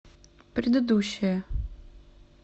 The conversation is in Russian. предыдущая